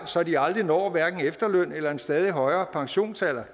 så de aldrig når hverken efterløn eller en stadig højere pensionsalder